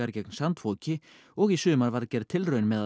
gegn sandfoki og í sumar var gerð tilraun með að